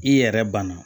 I yɛrɛ bana